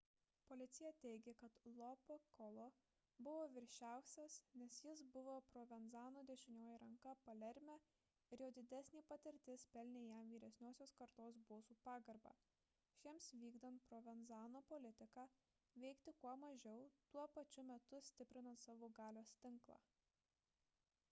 policija teigė kad lo piccolo buvo viršiausias nes jis buvo provenzano dešinioji ranka palerme ir jo didesnė patirtis pelnė jam vyresniosios kartos bosų pagarbą šiems vykdant provenzano politiką veikti kuo mažiau tuo pačiu metu stiprinant savo galios tinklą